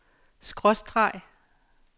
skråstreg